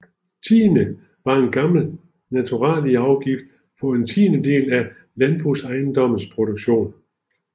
Tiende var en gammel naturalieafgift på en tiendedel af landbrugsejendommenes produktion